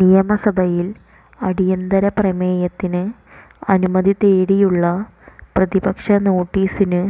നിയമസഭയിൽ അടിയന്തര പ്രമേയത്തിന് അനുമതി തേടിയുള്ള പ്രതിപക്ഷ നോട്ടീസിന്